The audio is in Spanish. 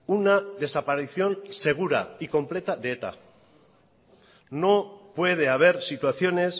una desaparición segura y completa de eta no puede haber situaciones